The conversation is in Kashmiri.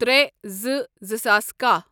ترے زٕ، زٕ ساس کہہَ